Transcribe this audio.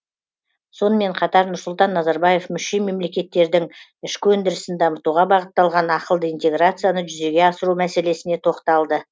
сонымен қатар нұрсұлтан назарбаев мүше мемлекеттердің ішкі өндірісін дамытуға бағытталған ақылды интеграцияны жүзеге асыру мәселесіне тоқталды